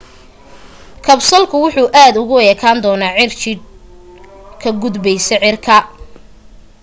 kabsalku wuxu aad ugu ekaan doonaa cirjiidh ka gudbaysa cirka